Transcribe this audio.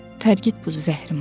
Tərgit bu zəhrimarı.